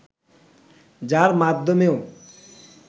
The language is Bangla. যার মাধ্যমেও